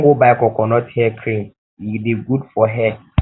i wan go buy coconut hair cream e dey good for hair